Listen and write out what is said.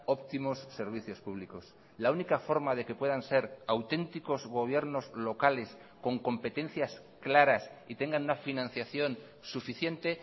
óptimos servicios públicos la única forma de que puedan ser auténticos gobiernos locales con competencias claras y tengan una financiación suficiente